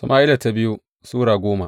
biyu Sama’ila Sura goma